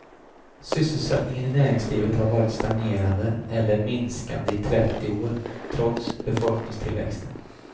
Sysselsättningen i näringslivet har varit stagnerande eller minskande i trettio år, trots befolkningstillväxten.